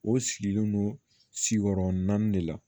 O sigilen don siyɔrɔ naani de la